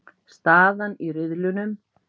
Staðan í riðlunum